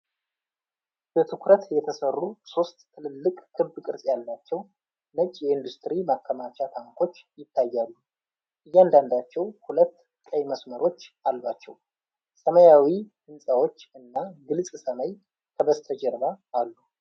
በትኩረት የተሰሩ ሶስት ትልልቅ ክብ ቅርጽ ያላቸው ነጭ የኢንዱስትሪ ማከማቻ ታንኮች ይታያሉ። እያንዳንዳቸው ሁለት ቀይ መስመሮች አሏቸው። ሰማያዊ ሕንፃዎች እና ግልጽ ሰማይ ከበስተጀርባ አሉ።